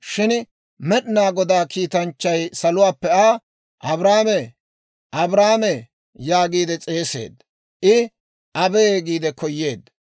Shin Med'inaa Godaa kiitanchchay saluwaappe Aa, «Abrahaamee, Abrahaamee» yaagiide s'eeseedda. I, «Abee» giide koyeedda.